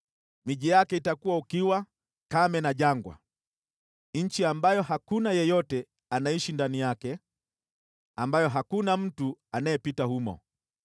Miji yake itakuwa ukiwa, kame na jangwa, nchi ambayo hakuna yeyote anayeishi ndani yake, ambayo hakuna mtu anayepita humo.